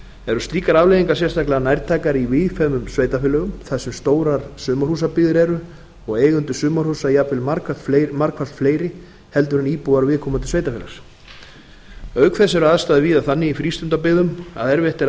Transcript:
eru slíkar afleiðingar sérstaklega nærtækar í víðfeðmum sveitarfélögum þar sem stórar sumarhúsabyggðir eru og eigendur sumarhúsa jafnvel margfalt fleiri heldur en íbúar viðkomandi sveitarfélags auk þess eru aðstæður víða þannig í frístundabyggðum að erfitt er að